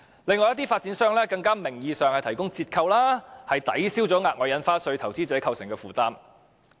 亦有發展商提供各種名義的折扣優惠，抵銷額外印花稅對投資者構成的負擔。